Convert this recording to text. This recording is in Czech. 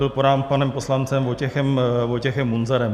Byl podán panem poslancem Vojtěchem Munzarem.